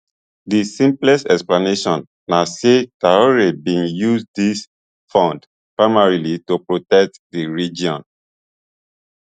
di simplest explanation na say traor bin use dis funds primarily to protect di regime